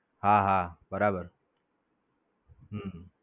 હા હા, બરાબર છે. હમ